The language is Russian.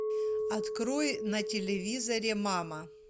открой на телевизоре мама